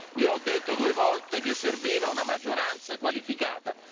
Io ho detto due volte che serviva una maggioranza qualificata.